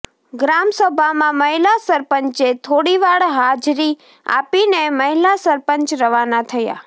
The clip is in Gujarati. ગ્રામસભામાં મહિલા સરપંચે થોડીવાર હાજરી આપીને મહિલા સરપંચ રવાના થયા